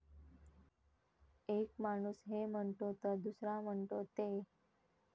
एक माणूस हे म्हणतो तर दुसरा म्हणतो ते.